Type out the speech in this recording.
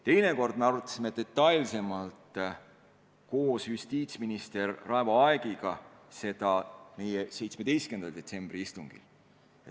Teine kord me arutasime eelnõu 17. detsembri istungil detailsemalt koos justiitsminister Raivo Aegiga.